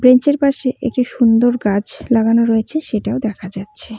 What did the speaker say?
Bench -এর পাশে একটি সুন্দর গাছ লাগানো রয়েছে সেটাও দেখা যাচ্ছে।